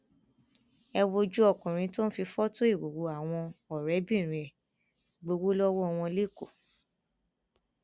ẹ wojú ọkùnrin tó ń fi fọtò ìhòòhò àwọn ọrẹbìnrin ẹ gbowó lọwọ wọn lẹkọọ